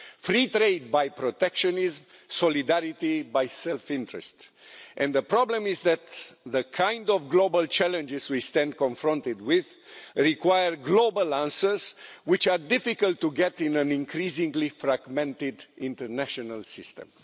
free trade by protectionism and solidarity by self interest, and the problem is that the kind of global challenges we stand confronted with require global answers, which are difficult to get in an increasingly fragmented international system.